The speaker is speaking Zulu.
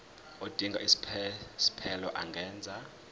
odinga isiphesphelo angenza